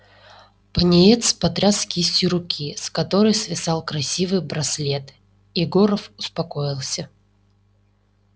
пониетс потряс кистью руки с которой свисал красивый браслет и горов успокоился